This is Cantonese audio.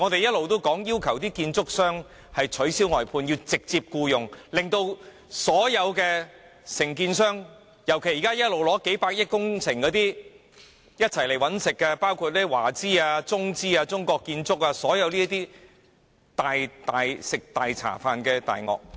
事實上，我們一直要求建築商取消外判安排，要直接僱用工人，確保所有承建商不能逃避責任，尤其是現時取得數百億元工程，一同來"搵食"的華資、中資、中國建築等這類"食大茶飯的大鱷"。